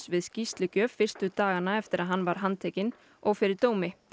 við skýrslugjöf fyrstu dagana eftir að hann var handtekinn og fyrir dómi